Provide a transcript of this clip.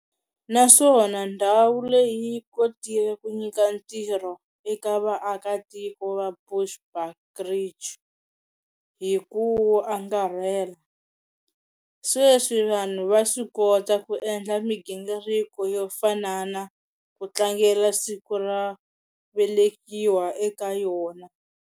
Na swona ndhawu leyi yi kotile ku nyika tirho eka vaaka tiko va bushbucridge hiku angarhela. Sweswi vanhu va swi kota ku endla migingiriko yo fanana ku tlangela siku ra velekiwa eka yona.